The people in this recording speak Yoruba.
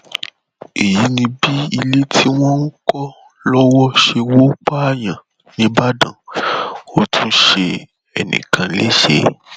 èyí ni bí ilé tí wọn ń kọ lọwọ ṣe wọ páàyàn nìbàdàn ò tún ṣe ẹnì kan léṣe